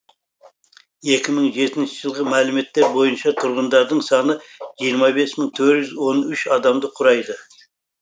екі мың жетінші жылғы мәліметтер бойынша тұрғындардың саны жиырма бес мың төрт жүз он үш адамды құрайды